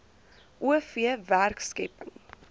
o v werkskepping